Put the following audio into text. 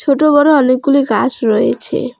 ছোট বড়ো অনেকগুলি গাছ রয়েছে।